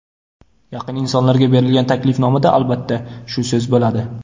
Yaqin insonlarga berilgan taklifnomada albatta, shu so‘z bo‘ladi.